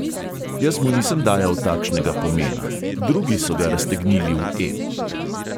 Jaz mu nisem dajal takšnega pomena, drugi so ga raztegnili v ep.